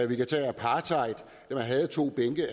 vi kan tage apartheid hvor man havde to bænke